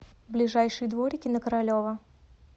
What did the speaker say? ближайший дворики на королева